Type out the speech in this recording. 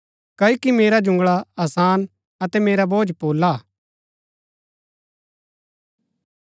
क्ओकि मेरा जुंगळा आसान अतै मेरा बोझ पोला हा